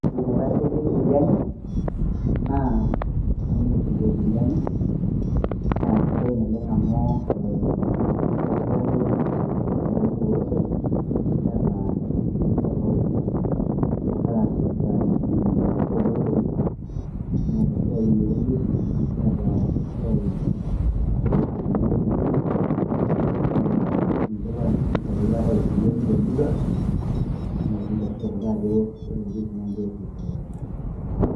Enaitasheki eseriani, naa Ministry eseriani. Na sidai naleng' amu, eakikisha ajo eetae eseriani tolosho. Netaa inkitinkini tofauti. Eeta esiai orpolisi, neeta esiai orjeshi, neeta esiai ormuseeni lorkijiji, lo ninche lokikisha ajo keetae eseriani temurua. Neakikisha sinche kuldo ajo ore iljeshi na ninche orrip enkop.